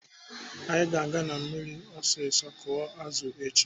Anyị ga-aga na mmiri ọsụsụ kụọ azụ echi.